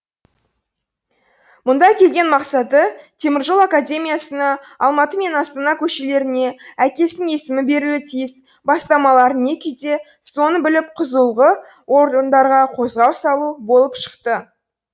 мұнда келген мақсаты теміржол академиясына алматы мен астана көшелеріне әкесінің есімі берілуі тиіс бастамалар не күйде соны біліп құзылғы орындарға қозғау салу болып шықты